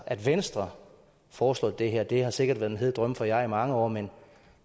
at venstre foreslår det her altså det har sikkert været en hed drøm for jer i mange år men